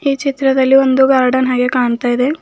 ಈ ಚಿತ್ರದಲ್ಲಿ ಒಂದು ಗಾರ್ಡನ್ ಹಾಗೆ ಕಾಣ್ತಾ ಇದೆ.